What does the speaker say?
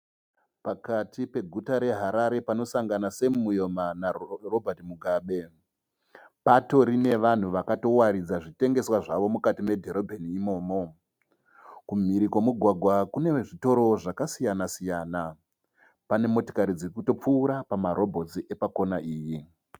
Pakati peguta reHarare panosangana Sam Mujoma naRobert Mugabe. Patorine vanhu vakatowaridza zvitengeswa zvawo mukati medhorobheni imomo. Kumhiri kwomugwagwa kune vezvitoro zvakasiyana-siyana. Pane motokari dziri kutopfuura pamarobotsi epakona iyi.